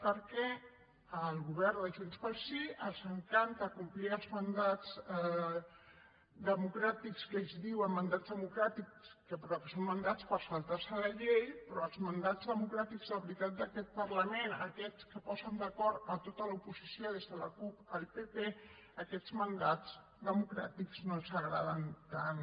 perquè al govern de junts pel sí els encanta complir els mandats democràtics que ells en diuen mandats democràtics però que són mandats per saltar se la llei però els mandats democràtics de veritat d’aquest parlament aquests que posen d’acord tota l’oposició des de la cup fins al pp aquests mandats democràtics no els agraden tant